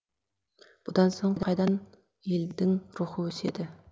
бұдан соң қайдан елдің рухы өседі